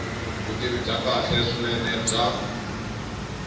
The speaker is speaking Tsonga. vutivi bya kahle swinene bya